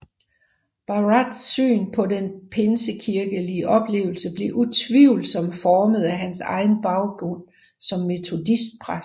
Barratts syn på den pinsekirkelig oplevelse blev utvivlsomt formet af hans egen baggrund som metodistpræst